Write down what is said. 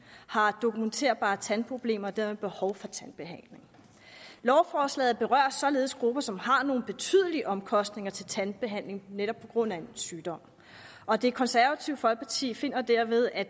har dokumenterbare tandproblemer og dermed behov for tandbehandling lovforslaget berører således grupper som har nogle betydelige omkostninger til tandbehandling netop på grund af en sygdom og det konservative folkeparti finder derved at